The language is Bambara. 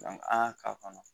an y'a k'a kɔnɔ